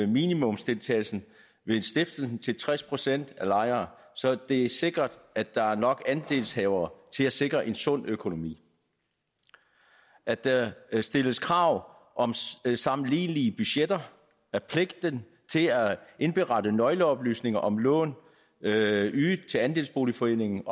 minimumsdeltagelsen ved stiftelsen til tres procent af lejerne så det er sikret at der er nok andelshavere til at sikre en sund økonomi at der stilles krav om sammenlignelige budgetter at pligten til at indberette nøgleoplysninger om lån ydet ydet til andelsboligforeningen